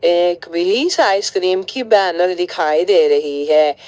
एक भी आइसक्रीम की बैनर दिखाई दे रही है।